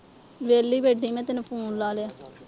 ਵਿਹਲੀ ਬੈਠੀ ਮੈਂ ਤੈਨੂੰ phone ਲਾ ਲਿਆ।